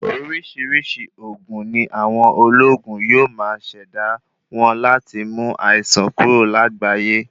Orisirisii oògùn ní àwọn olóògùn yóò má ṣẹda wọn láti mú àìsàn kúrò lágbayé